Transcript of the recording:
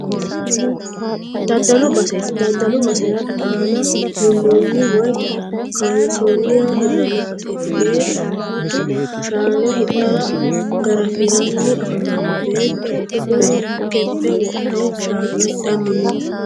Daddalu baseeti. Daddalu basera dhaana duunnoonni woyi kuunsoonninna hirranni baseeti. Beettu shaana hidhara garafiranni afamanno. Beettu umoho keppe wodhe shaana hidhanni no.